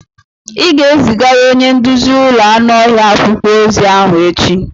Ị ga-ezigara onye nduzi ụlọ anụ ọhịa akwụkwọ ozi ahụ echi!